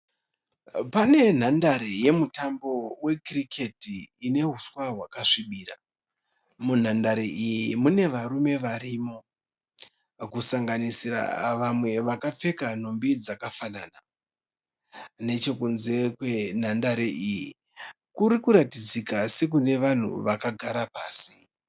Pane nhandare yemutambo we kiriketi ine uswa wakasvibira. Munhandare iyi mune varume varimo. Kusanganisira vamwe vakapfeka nhumbi dzakafanana. Nechekunze kwe nhandare iyi kuri kuratidzika sekune vanhu vakagara pasi.